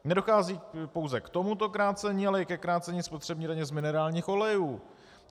Nedochází pouze k tomuto krácení, ale i ke krácení spotřební daně z minerálních olejů.